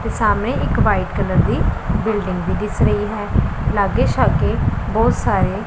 ਤੇ ਸਾਹਮਣੇ ਇੱਕ ਵ੍ਹਾਈਟ ਕਲਰ ਦੀ ਬਿਲਡਿੰਗ ਵੀ ਦਿੱਸ ਰਹੀ ਹੈ ਲੱਗੇ ਸ਼ੱਗੇ ਬਹੁਤ ਸਾਰੇ--